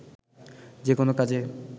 যেকোনো কাজে